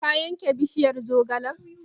Ka yanke bishiyar zogalen?